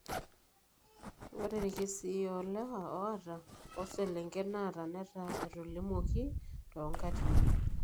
Ore irkesii oolewa oata oselengen naata netaa etolimuoki toonkaatini.